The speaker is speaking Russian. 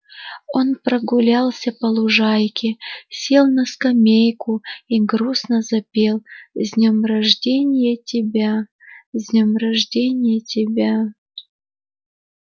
он прогулялся по лужайке сел на скамейку и грустно запел с днём рожденья тебя с днём рожденья тебя